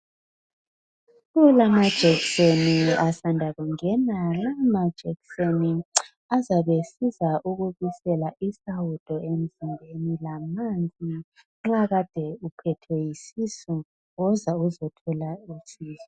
Kulamajekiseni asanda kungena. La majekiseni azabe esiza ukubisela isawudo emzimbeni la manzi. Nxa kade uphethwe yisisu woza uzothola usizo.